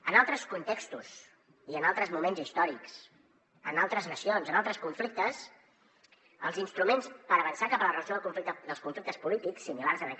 en altres contextos i en altres moments històrics en altres nacions en altres conflictes els instruments per avançar cap a la resolució dels conflictes polítics similars a aquest